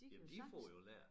De kan jo sagtens